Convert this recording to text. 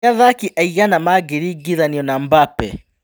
Nĩ-athaki aigana mangĩringithanio na Mbambe?